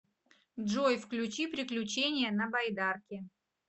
джой включи приключения на байдарке